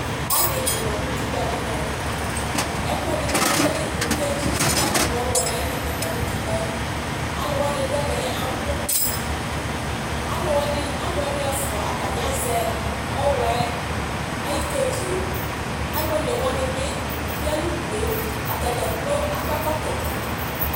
Bagi di manʋ itukpa nʋ ɛmɛ ɛkʋɛdi bʋakʋ ekele mʋ kedzi kʋ atani adʋ ɔwlɔ nʋ ayili bi manʋ utikpa yɛ alʋ wani dʋ ɛmɛ abʋ alʋ ɛfʋa azɛ ɔwlɔ ayʋ kedzie alʋ onewani bi yanʋ ʋdʋe atani dza kplo akɔ ɛkɔtɔ